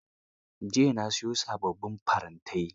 Jiya ya siyo sababbin farantai.